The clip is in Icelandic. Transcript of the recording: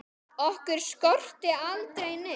Okkur skorti aldrei neitt.